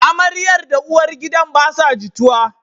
Amaryar da uwar gidan basa jituwa